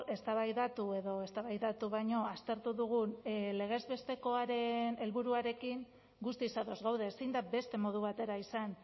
eztabaidatu edo eztabaidatu baino aztertu dugun legez bestekoaren helburuarekin guztiz ados gaude ezin da beste modu batera izan